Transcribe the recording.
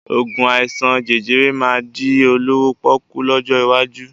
Oògùn àìsàn jẹjẹrẹ máa di olówó pọ́kú lọ́jọ́ iwájú